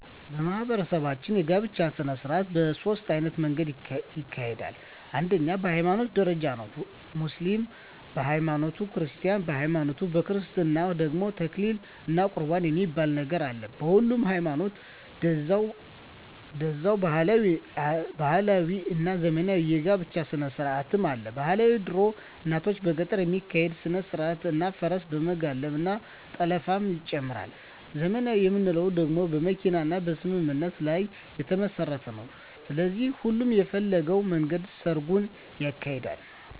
በማህበረሰባችን የጋብቻ ሰነስርአት በ ሶስት አይነት መንገድ ይካሄዳል አንደኛዉ በ ሀይማኖት ደረጃ ነዉ ሙስሊምም በ ሀይማኖቱ ክርስቲያንም በሀይማኖቱ በክርስትና ደግሞ ተክሊል እና ቁርባን የሚባል ነገር አለ በሁሉም ሀይማኖት ደዛዉ ባህላዊ እና ዘመናዊ የ ጋብቻ ስነስርአትም አለ ...ባህላዊ ድሮ እናቶቻችን በገጠር የሚካሄድ ስነስርአት እና ፈረስ በመጋለብ እና ጠለፍንም ይጨምራል .........ዘመናዊ የምንለዉ ደግሞ በመኪና እና በስምምነት ላይ የተመስረተ ነዉ ስለዚህ ሁሉም በፈለገዉ መንገድ ሰርጉን ያካሂዳል።